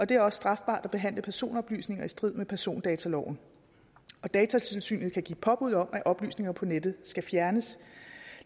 det er også strafbart at behandle personoplysninger i strid med persondataloven datatilsynet kan give påbud om at oplysninger på nettet skal fjernes